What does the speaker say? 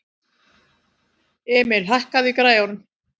Emil, hækkaðu í græjunum.